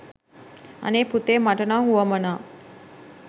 අනේ පුතේ මට නම් වුවමනා